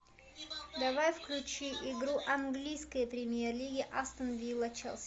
давай включи игру английской премьер лиги астон вилла челси